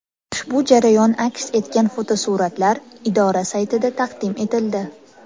Ushbu jarayon aks etgan fotosuratlar idora saytida taqdim etildi .